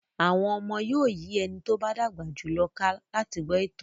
Àwọn ọmọdé yóò yí ẹni tó bá dàgbà jù lọ ká láti gbọ́ ìtàn.